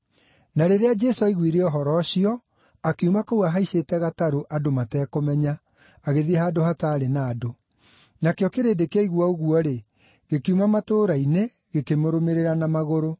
Na rĩrĩa Jesũ aiguire ũhoro ũcio, akiuma kũu ahaicĩte gatarũ andũ matekũmenya, agĩthiĩ handũ hataarĩ na andũ. Nakĩo kĩrĩndĩ kĩaigua ũguo-rĩ, gĩkiuma matũũra-inĩ gĩkĩmũrũmĩrĩra na magũrũ.